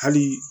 Hali